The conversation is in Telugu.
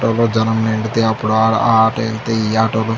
ఆటో లో జనం నిండితే అప్పుడు ఆటో అయితే ఈ ఆటో లు --